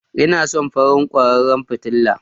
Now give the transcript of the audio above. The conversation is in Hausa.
Ina son farin kwararan fitila